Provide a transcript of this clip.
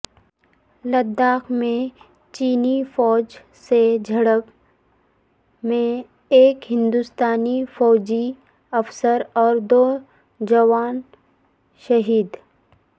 لداخ میں چینی فوج سے جھڑپ میں ایک ہندوستانی فوجی افسر اور دو جوان شہید